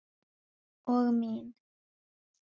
Og mín.